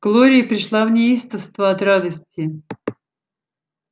глория пришла в неистовство от радости